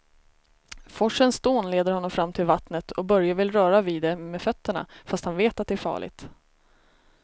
Forsens dån leder honom fram till vattnet och Börje vill röra vid det med fötterna, fast han vet att det är farligt.